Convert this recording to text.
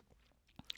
DR2